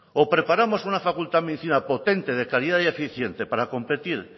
o preparamos una facultad de medicina potente de calidad y eficiente para competir